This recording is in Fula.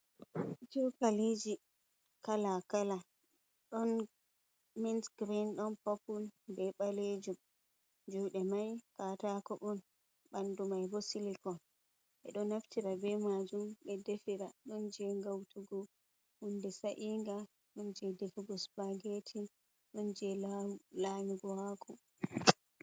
Cokalii kala kala ɗon minsgrin don papul be ɓalejum juɗe mai katako on ɓandu mai bo silicol ɓeɗo naftira be majum ɓe defira ɗon je gautugo hunde sa'inga ɗon je defigo spageti ɗon je lanyugo hako.